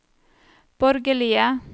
borgerlige